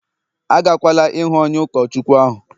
agakwala ihụ onye ụkọchukwu ahụ!